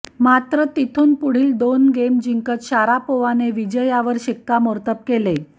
मात्र तिथून पुढील दोन गेम जिंकत शारापोवाने विजयावर शिक्कामोर्तब केले